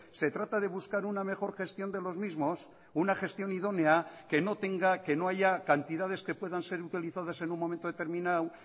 se trata de buscar una mejor gestión de los mismos una gestiónidónea que no tenga que no haya cantidades que puedan ser utilizadas en un momento determinado